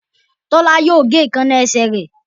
Tola yíò gé Èékánná esẹ̀ rẹ.